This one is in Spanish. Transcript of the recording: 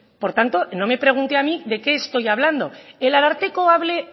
por tanto no me pregunte a mí de qué estoy hablando el ararteko abre